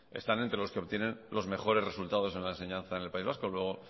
están entre los que obtienen los mejores resultados en la enseñanza en el país vasco luego